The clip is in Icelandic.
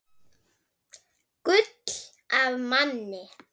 Gull af manni.